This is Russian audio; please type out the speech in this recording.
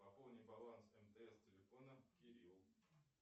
пополни баланс мтс телефона кирилл